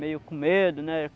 meio com medo, né?